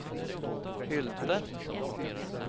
Hylte